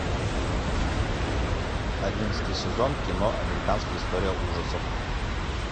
одиннадцатый сезон кино американская история ужасов